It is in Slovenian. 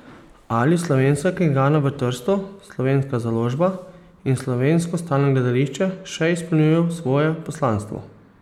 Ali slovenska knjigarna v Trstu, slovenska založba in Slovensko stalno gledališče še izpolnjujejo svoje poslanstvo?